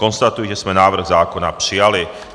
Konstatuji, že jsme návrh zákona přijali.